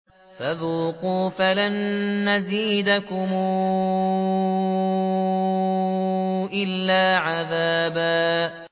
فَذُوقُوا فَلَن نَّزِيدَكُمْ إِلَّا عَذَابًا